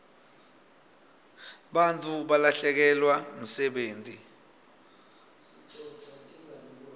bantfu balahlekelwa msebenti